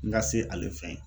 N ka se ale fɛn ye